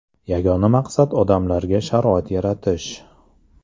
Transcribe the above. Yagona maqsad odamlarga sharoit yaratish.